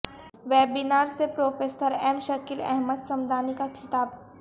webinar سے professor M Shakeel Ahmad Samdani کا خطاب